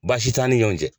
Baasi t'an ni ɲɔɔn cɛ